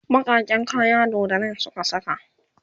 bakaken kaya doddanin Suka saka